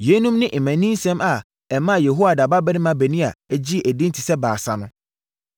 Yeinom ne mmaninsɛm a ɛmaa Yehoiada babarima Benaia gyee edin te sɛ Baasa no.